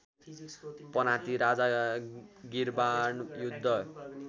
पनाती राजा गिर्वाणयुद्ध